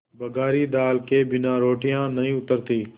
बघारी दाल के बिना रोटियाँ नहीं उतरतीं